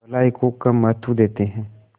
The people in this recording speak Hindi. भलाई को कम महत्व देते हैं